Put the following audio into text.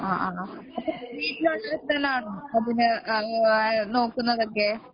ആണോ ആ വീട്ടിലെ ആൾക്കാരാണോ നോക്കുന്നതൊക്കെ